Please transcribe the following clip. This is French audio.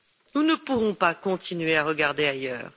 Nous ne pourrons pas continuer à regarder ailleurs.